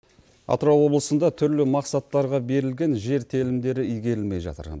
атырау облысында түрлі мақсаттарға берілген жер телімдері игерілмей жатыр